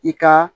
I ka